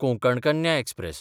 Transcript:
Konkan Kanya express